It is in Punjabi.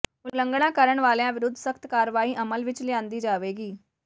ਉਲੰਘਣਾ ਕਰਨ ਵਾਲਿਆਂ ਵਿਰੁੱਧ ਸਖ਼ਤ ਕਾਰਵਾਈ ਅਮਲ ਵਿੱਚ ਲਿਆਂਦੀ ਜਾਵੇਗੀ